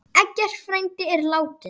Eggert frændi er látinn.